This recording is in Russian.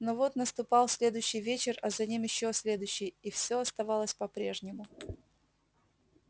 но вот наступал следующий вечер а за ним ещё следующий и все оставалось по-прежнему